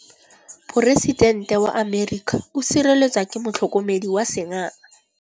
Poresitêntê wa Amerika o sireletswa ke motlhokomedi wa sengaga.